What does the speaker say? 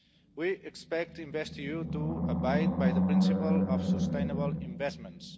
We expect InvestEU to abide by the principle of sustainable investments.